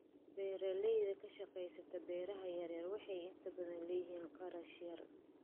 Beeraleyda ka shaqeysa beeraha yar yar waxay inta badan leeyihiin kharash yar.